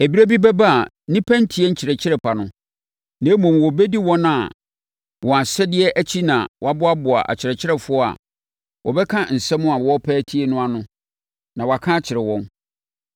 Ɛberɛ bi bɛba a nnipa rentie nkyerɛkyerɛ pa no, na mmom, wɔbɛdi wɔn ara wɔn asɛdeɛ akyi na wɔaboaboa akyerɛkyerɛfoɔ a wɔbɛka nsɛm a wɔrepɛ atie no ano, na wɔaka akyerɛ wɔn.